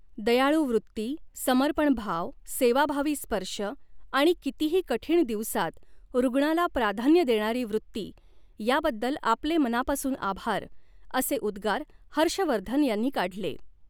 दयाळू व़ृत्ती, समर्पणभाव, सेवाभावी स्पर्श आणि कितीही कठीण दिवसात रुग्णाला प्रधान्य देणारी वृत्ती याबद्दल आपले मनापासून आभार, असे उद्गार हर्षवर्धन यांनी काढले.